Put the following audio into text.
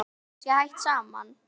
Eruð þið kannski hætt saman?